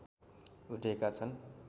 उठेका छन्